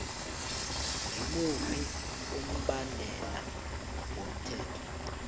ngimuphi umbandela womthetho